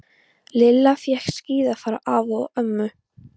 Lilla fékk skíði frá afa og ömmu.